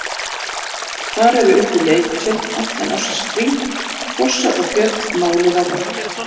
Þar eru uppi leiktjöld allan ársins hring, fossar og fjöll máluð á vegg.